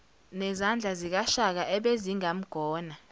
nezandla zikashaka ebezingamgona